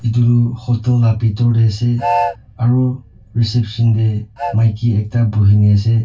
etu tu hotel la pitor te ase aru reception te maiki ekta buhi ne ase.